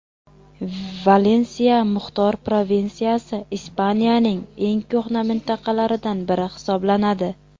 Valensiya muxtor provinsiyasi Ispaniyaning eng ko‘hna mintaqalaridan biri hisoblanadi.